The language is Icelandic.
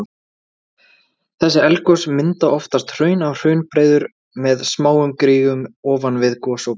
Þessi eldgos mynda oftast hraun og hraunbreiður með smáum gígum ofan við gosopið.